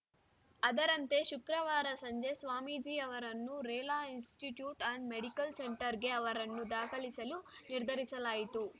ಅದರಂತೆ ಶುಕ್ರವಾರ ಸಂಜೆ ಸ್ವಾಮೀಜಿ ಅವರನ್ನು ರೇಲಾ ಇನ್‌ಸ್ಟಿಟ್ಯೂಟ್‌ ಆ್ಯಂಡ್‌ ಮೆಡಿಕಲ್‌ ಸೆಂಟರ್‌ಗೆ ಅವರನ್ನು ದಾಖಲಿಸಲು ನಿರ್ಧರಿಸಲಾಯಿತು